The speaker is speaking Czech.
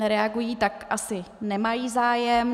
Nereagují, tak asi nemají zájem.